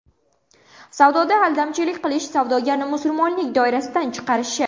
Savdoda aldamchilik qilish savdogarni musulmonlik doirasidan chiqarishi.